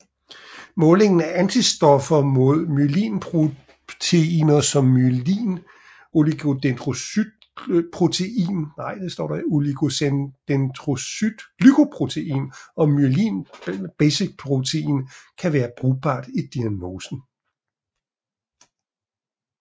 Målingen af antistoffer mod myelinproteiner som myelin oligodendrocytglycoprotein og myelin basic protein kan være brugbart i diagnosen